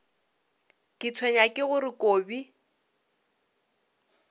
ke tshwenywa ke gore kobi